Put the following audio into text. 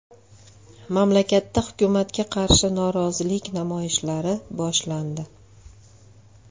Mamlakatda hukumatga qarshi norozilik namoyishlari boshlandi.